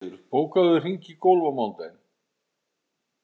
Ástheiður, bókaðu hring í golf á mánudaginn.